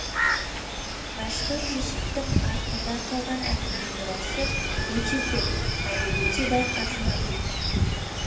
мәшһүр жүсіптің артында қалған әдеби мұрасы өте көп әрі өте бай қазына